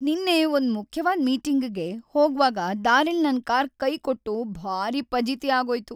ನಿನ್ನೆ ಒಂದ್ ಮುಖ್ಯವಾದ್ ಮೀಟಿಂಗಿಗ್ ಹೋಗ್ವಾಗ ದಾರಿಲ್ ನನ್ ಕಾರ್ ಕೈಕೊಟ್ಟು ಭಾರೀ ಫಜೀತಿ ಆಗೋಯ್ತು.